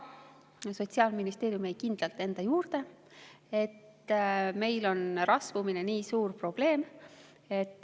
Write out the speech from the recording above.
Aga Sotsiaalministeerium jäi kindlalt enda juurde, et meil on rasvumine nii suur probleem.